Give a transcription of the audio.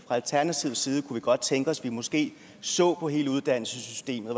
fra alternativets side kunne vi godt tænke os at vi måske så på hele uddannelsessystemet